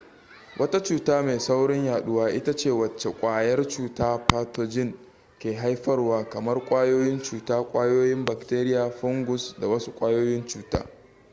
wata cuta mai saurin yaduwa ita ce wacce kwayar cuta pathogen ke haifarwa kamar ƙwayoyin cuta ƙwayoyin bakteria fungus ko wasu ƙwayoyin cuta